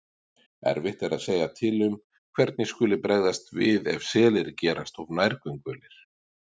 Erfitt er að segja til um hvernig skuli bregðast við ef selir gerast of nærgöngulir.